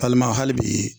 hali bi